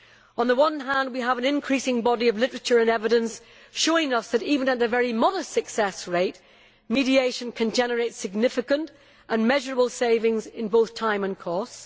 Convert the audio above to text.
On the one hand we have an increasing body of literature and evidence showing us that, even at a very modest success rate, mediation can generate significant and measurable savings in both time and costs.